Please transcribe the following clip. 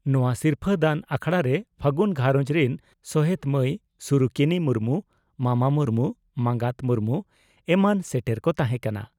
ᱱᱚᱣᱟ ᱥᱤᱨᱯᱷᱟᱹ ᱫᱟᱱ ᱟᱠᱷᱲᱟᱨᱮ ᱯᱷᱟᱹᱜᱩᱱ ᱜᱷᱟᱨᱚᱸᱡᱽ ᱨᱤᱱᱥᱚᱦᱮᱛ ᱢᱟᱹᱭ ᱥᱩᱨᱩᱠᱤᱱᱤ ᱢᱩᱨᱢᱩ, ᱢᱟᱢᱟ ᱢᱩᱨᱢᱩ, ᱢᱟᱸᱜᱟᱛ ᱢᱩᱨᱢᱩ ᱮᱢᱟᱱ ᱥᱮᱴᱮᱨ ᱠᱚ ᱛᱟᱦᱮᱸ ᱠᱟᱱᱟ ᱾